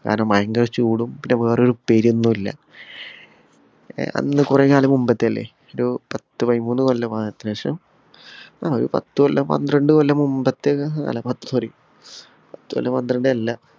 കാരണം ഭയങ്കര ചൂടും. പിന്നെ വേറെ ഒരു ഉപ്പേരിയൊന്നും ഇല്ല. അന്ന് കൊറേകാലം മുമ്പത്തെ അല്ലെ? ഒരു പത്തു പയിമൂന്നു കൊല്ലത്തിനു ശേഷം ഒരു പത്തു കൊല്ലം പന്ത്രണ്ടു കൊല്ലം മുമ്പത്തെ sorry പത്തു കൊല്ലം പന്ത്രണ്ടു കൊല്ലം അല്ല.